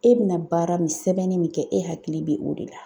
E bɛna baara min sɛbɛnni min kɛ, e hakili bɛ o de la.